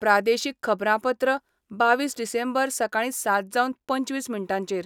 प्रादेशीक खबरांपत्र बावीस डिसेंबर, सकाळी सात जावन पंचवीस मिनटांचेर